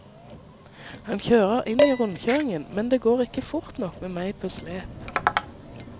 Han kjører inn i rundkjøringen, men det går ikke fort nok med meg på slep.